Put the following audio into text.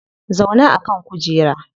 Zauna a kan kujera